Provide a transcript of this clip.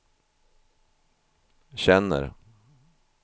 känner